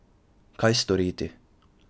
Kaj storiti?